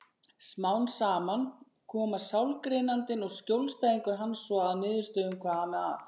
Smám saman komast sálgreinandinn og skjólstæðingur hans svo að niðurstöðu um hvað ami að.